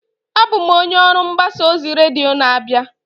Abụ m onye mgbasa ozi redio na-abịa.